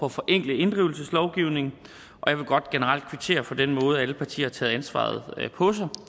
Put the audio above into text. at forenkle inddrivelseslovgivningen og jeg vil godt generelt kvittere for den måde alle partier har taget ansvaret på sig